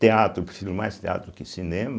Teatro, prefiro mais teatro do que cinema.